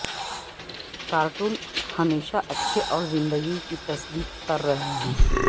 cartoon ہمیشہ اچھے اور زندگی کی تصدیق کر رہے ہیں